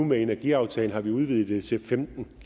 med energiaftalen har vi nu udvidet det til femten